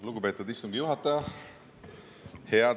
Lugupeetud istungi juhataja!